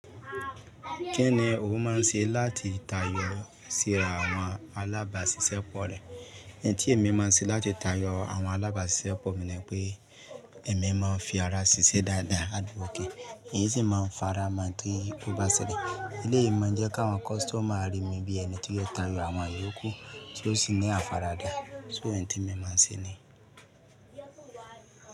Kí ni o máa ń se láti tayọ síra àwọn alábàáṣiṣẹ́ pọ̀ rẹ? Iń tí èmi máa ń ṣe láti tayọ àwọn alábàáṣiṣẹ́ pọ̀ mi ni pé èmi máa ń fi ara ṣiṣẹ́ dáadáa, hard working, ń sì máa ń fara mọ́ tí ó bá ṣẹlẹ̀. Eléyìí máa ń jẹ́ kí àwọn customer rí mi bí ẹni tí yóò tayọ àwọn iyokù tí ó sì ní àfaradà. So ín tí èmi máa ń ṣe ni.